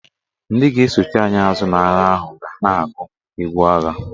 Ndị ga-esochi anyị azụ n'agha ahụ ga na-agụ egwu agha.